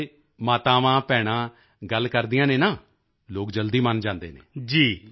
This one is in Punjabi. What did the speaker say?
ਕਦੀ ਮਾਤਾਵਾਂਭੈਣਾਂ ਗੱਲ ਕਰਦੀਆਂ ਹਨ ਨਾ ਲੋਕ ਜਲਦੀ ਮਨ ਜਾਂਦੇ ਹਨ